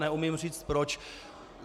Neumím říci proč.